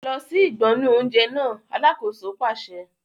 Lọ sí ìgbọnnu oúnjẹ náà! Alákòóso pàṣẹ.